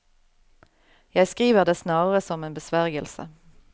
Jeg skriver det snarere som en besvergelse.